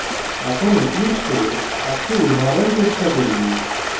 এখন eclipse এ একটি উদাহরণ চেষ্টা করি